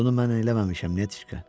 Bunu mən eləməmişəm, Netiçka.